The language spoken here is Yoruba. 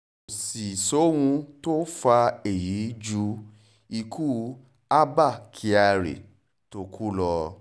kò sì sóhun tó fa èyí ju ikú abba kyari tó kú ni lọ